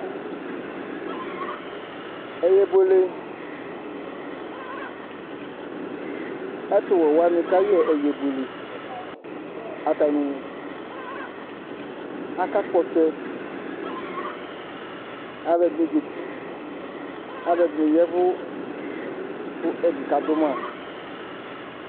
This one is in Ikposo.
Ɛyɛbuele ɛtuwɛ wani kayɛ ɛyɛbuele atani akakpɔ ɔtsɛ aluɛdini zati aluɛdini yavu kuɛdi kadu ma